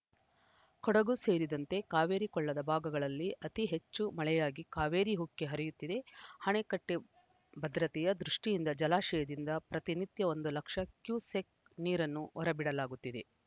ಕೊಡಗು ಸೇರಿದಂತೆ ಕಾವೇರಿ ಕೊಳ್ಳದ ಭಾಗಗಳಲ್ಲಿ ಅತಿ ಹೆಚ್ಚು ಮಳೆಯಾಗಿ ಕಾವೇರಿ ಉಕ್ಕಿ ಹರಿಯುತ್ತಿದೆ ಅಣೆಕಟ್ಟೆಭದ್ರತೆಯ ದೃಷ್ಟಿಯಿಂದ ಜಲಾಶಯದಿಂದ ಪ್ರತಿ ನಿತ್ಯ ಒಂದು ಲಕ್ಷ ಕ್ಯುಸೆಕ್‌ ನೀರನ್ನು ಹೊರಬಿಡಲಾಗುತ್ತಿದೆ